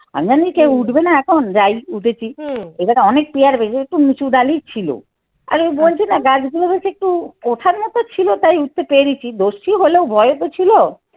আমি জানি কেউ উঠবে না এখন যাই উঠেছি। এবার অনেক পিয়ার বেশ একটু উঁচু ডালি ছিল আরে ও বলছি না গাছগুলো বলছে একটু ওঠা মতো ছিল তাই উঠতে পেরেছি দোষী হলেও ভয়ে তো ছিল।